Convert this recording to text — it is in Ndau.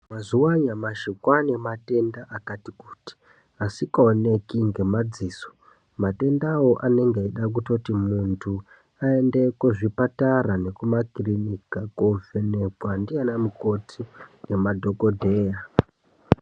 Mazuwa anyamashi kwaane matenda akati kuti asikaoneki ngemadziso. Matendawo anenge eitoda kuti muntu aende kuzvipatara nekumakiriniki, kovhenekwa ndivana mukoti nemadhokodheya.